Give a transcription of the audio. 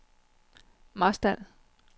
Marstal